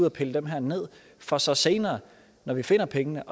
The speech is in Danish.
og pille dem her ned for så senere når vi finder pengene